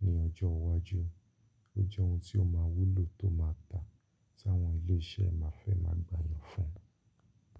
ní ọjọ́ iwájú. Ó jẹ́ ohun tí ó máa wúlò tó máa dáa tí àwọn ilé iṣẹ́ máa fẹ́ máa gbà yàn fún.